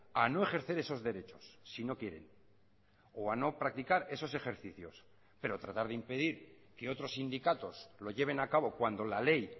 a no ejercer esos derechos si no quieren o a no practicar esos ejercicios pero tratar de impedir que otros sindicatos lo lleven a cabo cuando la ley